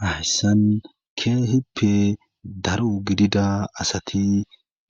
Hayssan keehippe daro gidida asati